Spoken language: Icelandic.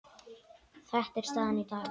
Þetta er staðan í dag.